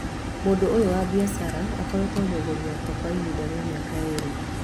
Mũndũ ũyũ wa biacara akoretwo mũgũri wakwa kwa ihinda rĩa mĩaka ĩrĩ